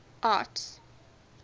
arts